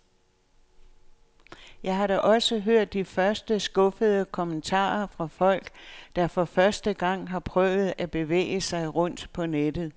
Jeg har da også hørt de første skuffede kommentarer fra folk, der for første gang har prøvet at bevæge sig rundt på nettet.